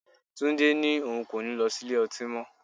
Túndé ní òun kò ní lọ sí ilé-ọtí mó.